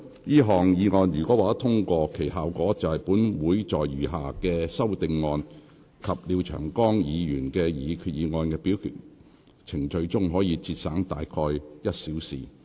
這項議案如獲得通過，其效果是本會在餘下修訂議案及廖長江議員的擬議決議案的表決程序中，可節省約1小時。